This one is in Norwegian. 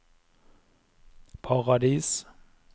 Paradis